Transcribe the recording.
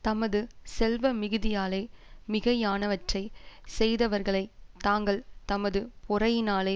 தமது செல்வ மிகுதியாலே மிகையானவற்றைச் செய்தவர்களை தாங்கள் தமது பொறையினாலே